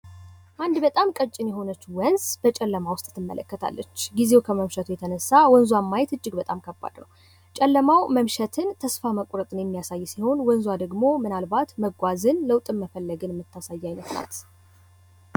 አንድ በጣም ቀጭን የሆነች ወንዝ በጨለማ ውስጥ ትመለከታለች። ጊዜው ከመምሸቱ የተነሳ ወንዟን ማየት እጅግ በጣም ከባድ ነው። ጨለማው መምሸትን ፣ ተስፋ መቁረጥ የሚያሳይ ሲሆን ወንዟ ደግሞ ምናልባት መጓዝን ለውጥ መፈለግን የምታሳይ ናት።